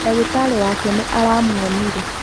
Ndagitarĩ wake nĩ aramũonire.